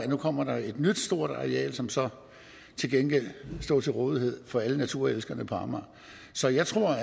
nu kommer et nyt stort areal som så til gengæld står til rådighed for alle naturelskerne på amager så jeg tror